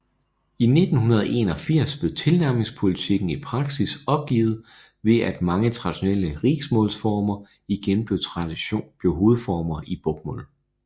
I 1981 blev tilnærmingspolitikken i praksis opgivet ved at mange traditionelle riksmålsformer igen blev hovedformer i bokmål